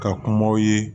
Ka kumaw ye